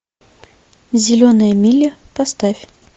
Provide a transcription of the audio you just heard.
зеленая миля поставь